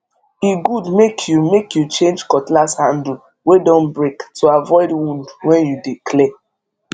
e good make you make you change cutlass handle wey don break to avoid wound when you dey clear